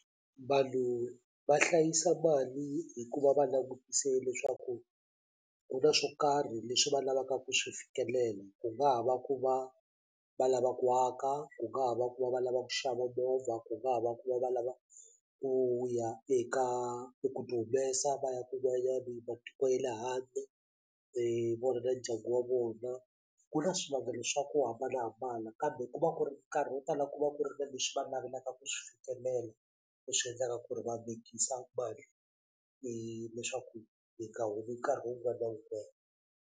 Vanhu va hlayisa mali hikuva va langutise leswaku ku na swo karhi leswi va lavaka ku swi fikelela ku nga ha va ku va va lava ku aka ku nga ha va ku va va lava ku xava movha ku nga ha va ku va va lava ku ya eka ku ti humesa va ya kun'wanyani matiko ye le handle hi vona na ndyangu wa vona ku na swivangelo swa ku hambanahambana kambe ku va ku ri nkarhi wo tala ku va ku ri na leswi va navelaka ku swi fikelela leswi endlaka ku ri va vekisa mali leswaku yi nga humi nkarhi wun'wana wun'wani.